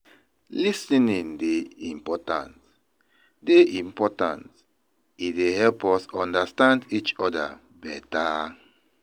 Lis ten ing dey important; dey important; e dey help us understand each other better.